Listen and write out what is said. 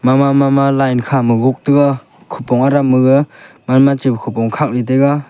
ma ma ma line khama gok tega khupong aram gaga khupong ley tega.